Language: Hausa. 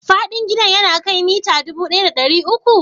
Faɗin gidan ya kai mita dubu ɗaya da ɗari uku?